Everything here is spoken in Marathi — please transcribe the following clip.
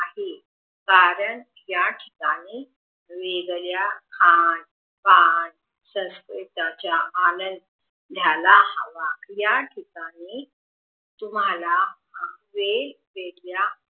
आहे कारण याठिकाणी वेगळ्या खान पान संस्कृतीचा आलाय घ्यायला हवा याठिकाणी तुम्हाला वेगवेगळ्या